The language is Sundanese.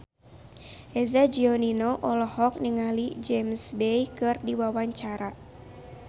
Eza Gionino olohok ningali James Bay keur diwawancara